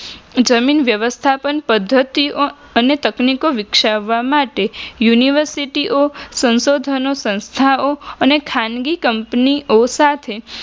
જમીન વ્યવસ્થા પદ્ધતિઓ અને તકનીકીઓ વિકસાવવા માટે યુનીવર્સીટીઓ, સંસોધનો સંસ્થાઓ અને ખાનગી કંપનીઓ સાથે